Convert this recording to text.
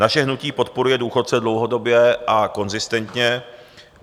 Naše hnutí podporuje důchodce dlouhodobě a konzistentně.